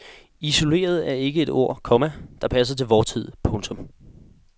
Isoleret er ikke et ord, komma der passer til vor tid. punktum